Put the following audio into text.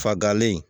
Fagalen